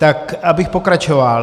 Tak abych pokračoval.